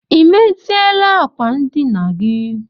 Ị meziela ákwà ndịna gị?